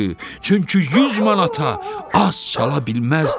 Çünki 100 manata az çala bilməzdi.